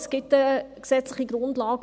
Es gibt eine gesetzliche Grundlage.